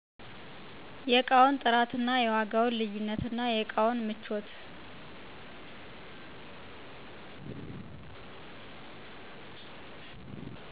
የዕቃውንት ጥራትና የዋጋውን ልዩነትናየእቃውን ምቾት